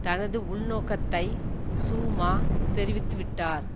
தனது உள்நோக்கத்தை சூமா தெரிவித்துவிட்டார்